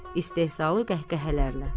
İstehzalı qəhqəhələrlə.